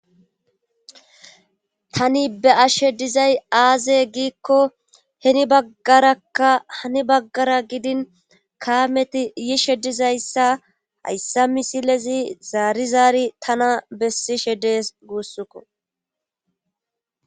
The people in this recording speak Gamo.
tani be ashshe dizay aaze giikko heni baggarakka hani baggara gidin kaameti yishe dizayssa hayssa misilezi zaari zaari tana bessishe dees guussukko